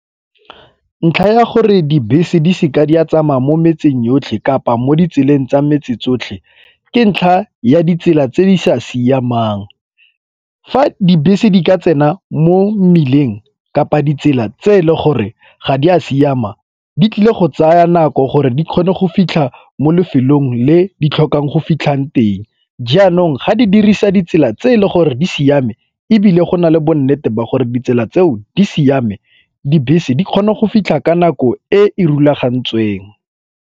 Ntlha ya gore dibese di seke di a tsamaya mo metseng yotlhe kapa mo ditseleng tsa metsi tsotlhe ke ntlha ya ditsela tse di sa siamang. Fa dibese di ka tsena mo mmileng kapa ditsela tse e le gore ga di a siama di tlile go tsaya nako gore di kgone go fitlha mo lefelong le di tlhokang go fitlhang teng. Jaanong ga di dirisa ditsela tse e le gore di siame ebile go na le bo nnete ba gore ditsela tseo di siame dibese di kgona go fitlha ka nako e e rulagantsweng.